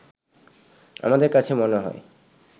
আমাদের কাছে মনে হয়